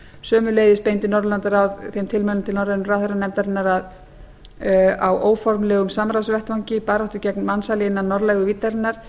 sömuleiðis beindi norðurlandaráð þeim tilmælum til norrænu ráðherranefndarinnar að á óformlegum samráðsvettvangi baráttu gegn mansali innan norðlægu víddarinnar